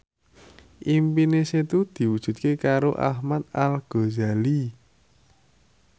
impine Setu diwujudke karo Ahmad Al Ghazali